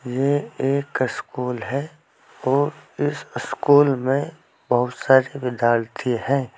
ये एक स्कूल है और इस स्कूल में बहुत सारे विद्यार्थी है।